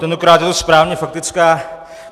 Tentokrát je to správně faktická.